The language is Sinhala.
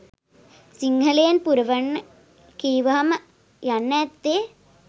සිංහලෙන් පුරවන්න කීවහම යන්න ඇත්තෙ